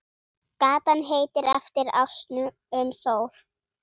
Gatan heitir eftir ásnum Þór.